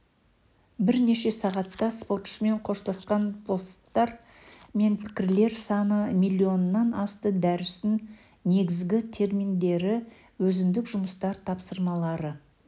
бірнеше сағатта спортшымен қоштасқан посттар мен пікірлер саны миллионнан асты дәрістің негізгі терминдері өзіндік жұмыстар тапсырмалары